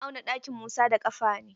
Eh muna auna ɗakin Musa da ƙafa ne.